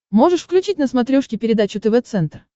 можешь включить на смотрешке передачу тв центр